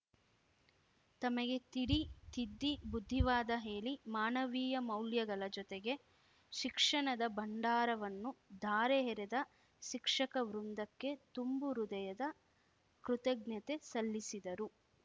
ತಮಗೆ ತಿಡಿ ತಿದ್ದಿ ಬುದ್ದಿವಾದ ಹೇಳಿ ಮಾನವೀಯ ಮೌಲ್ಯಗಳ ಜೊತೆಗೆ ಶಿಕ್ಷಣದ ಭಂಡಾರವನ್ನು ಧಾರೆ ಎರೆದ ಶಿಕ್ಷಕ ವೃಂದಕ್ಕೆ ತುಂಬು ಹೃದಯದ ಕೃತಜ್ಞತೆ ಸಲ್ಲಿಸಿದರು